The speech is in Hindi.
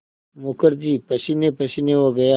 मुखर्जी पसीनेपसीने हो गया